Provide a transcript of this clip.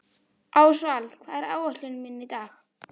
Ástvald, hvað er á áætluninni minni í dag?